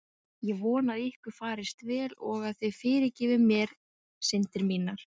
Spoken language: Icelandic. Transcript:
Ég vona að ykkur farnist vel og að þið fyrirgefið mér syndir mínar.